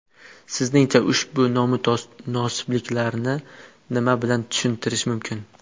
Sizningcha ushbu nomutanosiblikni nima bilan tushuntirish mumkin?